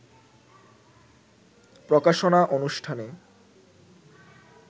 প্রকাশনা অনুষ্ঠানে